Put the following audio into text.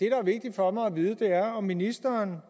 er vigtigt for mig at vide er om ministeren